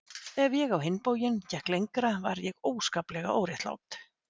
Ef ég á hinn bóginn gekk lengra var ég afskaplega óréttlát.